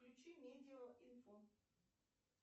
включи медио инфо